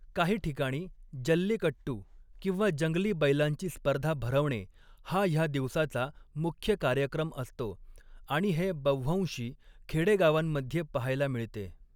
काही ठिकाणी, जल्लीकट्टू, किंवा जंगली बैलांची स्पर्धा भरवणे, हा ह्या दिवसाचा मुख्य कार्यक्रम असतो आणि हे बव्हंशी खेडेगावांमध्ये पहायला मिळते.